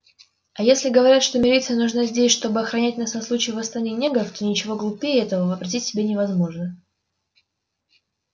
а если говорят что милиция нужна здесь чтобы охранять нас на случай восстания негров то ничего глупее этого вообразить себе невозможно